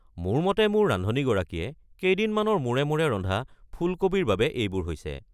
মোৰ মতে মোৰ ৰান্ধনীগৰাকীয়ে কেইদিনমানৰ মূৰে মূৰে ৰন্ধা ফুলকবিৰ বাবে এইবোৰ হৈছে।